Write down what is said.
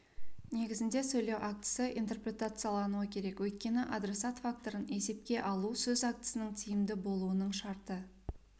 негізінде сөйлеу актісі интерпретациялануы керек өйткені адресат факторын есепке алу сөз актісінің тиімді болуының шарты